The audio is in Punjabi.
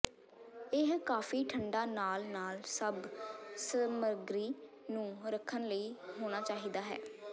ਇਹ ਕਾਫ਼ੀ ਠੰਡਾ ਨਾਲ ਨਾਲ ਸਭ ਸਮੱਗਰੀ ਨੂੰ ਰੱਖਣ ਲਈ ਹੋਣਾ ਚਾਹੀਦਾ ਹੈ